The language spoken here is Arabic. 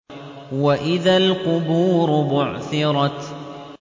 وَإِذَا الْقُبُورُ بُعْثِرَتْ